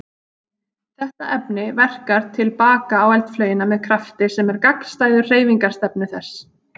Þetta efni verkar til baka á eldflaugina með krafti sem er gagnstæður hreyfingarstefnu þess.